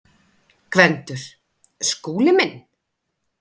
GVENDUR: Skúli minn!